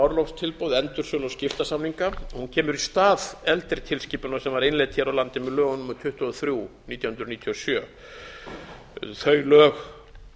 orlofstilboð endursölu og skiptasamninga og hún kemur í stað eldri tilskipunar sem var innleidd hér á landi með lögum númer tuttugu og þrjú nítján hundruð níutíu og sjö þau lög